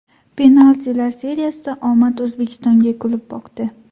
Penaltilar seriyasida omad O‘zbekistonga kulib boqdi.